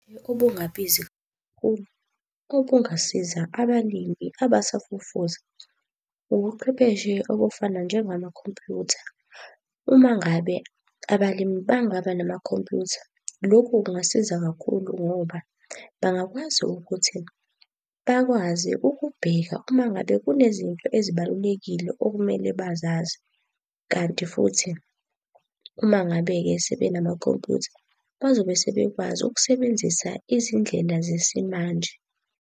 Okungasiza abalimi abasafufusa, ubuchwepheshe obufana njengamakhompyutha. Uma ngabe abalimi bangaba namakhompyutha, lokhu kungasiza kakhulu ngoba bangakwazi ukuthi bakwazi ukubheka uma ngabe kunezinto ezibalulekile okumele bazazi. Kanti futhi uma ngabe-ke sebe namakhompuyutha, bazobe sebekwazi ukusebenzisa izindlela zesimanje.